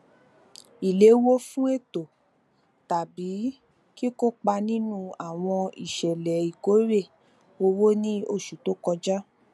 ìléwó fún ètò tàbí kíkópa nínú àwọn ìṣẹlẹ ìkórè owó ní oṣù tó kọjá